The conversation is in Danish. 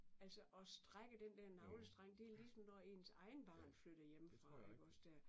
Altså og strække den der navlestreng det er ligesom når ens eget barn flytter hjemmefra iggås der